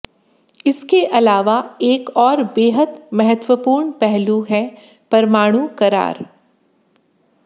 इसके अलावा एक और बेहद महत्वपूर्ण पहलू है परमाणु करार